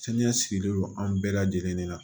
Saniya sigilen don an bɛɛ lajɛlen de la